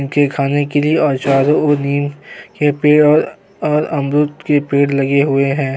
और इनके खाने के लिए चारो ओर नीम के पेड़ और अमरूद के पेड़ लगे हुए हैं।